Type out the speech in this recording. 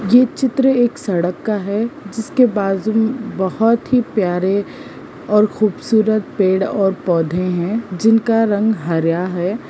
ये चित्र एक सड़क का है जिसके बाजू बहोत ही प्यारे और खूबसूरत पेड़ और पौधे हैं जिनका रंग हरा है।